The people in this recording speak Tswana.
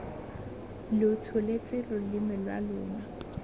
lo tsholetse loleme lwa lona